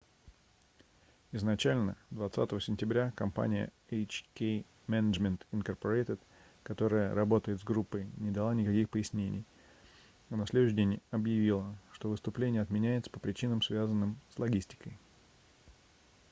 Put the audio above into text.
изначально 20 сентября компания hk management inc которая работает с группой не дала никаких пояснений а на следующий день объявила что выступление отменяется по причинам связанным с логистикой